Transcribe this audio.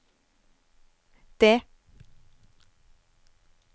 D